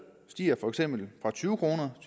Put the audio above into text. stiger for eksempel fra tyve kroner